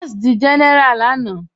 Abás dí géneráá lànà